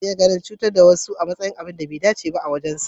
Nasir yana ganin cutar da wasu a matsayin abun da bai dace ba a wajensa.